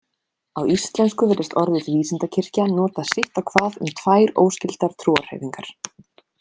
Á íslensku virðist orðið vísindakirkja notað sitt á hvað um tvær óskyldar trúarhreyfingar.